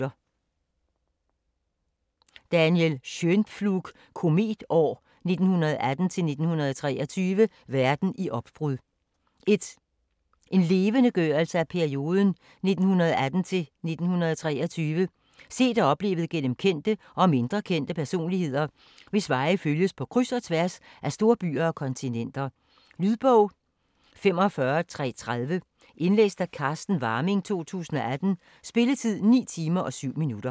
Schönpflug, Daniel: Kometår: 1918-1923 - verden i opbrud En levendegørelse af perioden 1918 til 1923 set og oplevet gennem kendte og mindre kendte personligheder, hvis veje følges på kryds og tværs af storbyer og kontinenter. Lydbog 45330 Indlæst af Carsten Warming, 2018. Spilletid: 9 timer, 7 minutter.